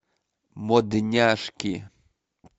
модняшки